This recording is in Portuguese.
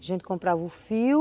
A gente comprava um fio,